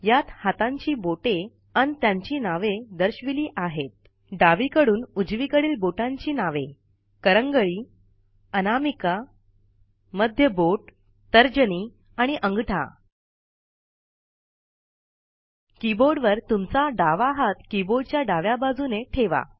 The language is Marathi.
यात हातांची बोटे अन त्यांची नवे दर्शविली आहेत डावीकडून उजवीकडील बोटांची नवे करंगळी अनामिका रिंग फिंगर मध्य बोट तर्जनी इंडेक्स फिंगर आणि अंगठा किबोर्डवर तुमचा डावा हात किबोर्डच्या डाव्या बाजूने ठेवा